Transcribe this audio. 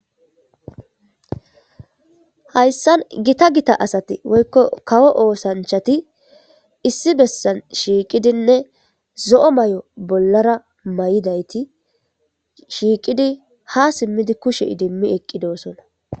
hayssan gita gita asati woykko kawo oosanchati issi bessan shiiqidinne zo7o may7o bollara may7idayti shiiqidi ha simmidi kushe idimmi eqqidoosona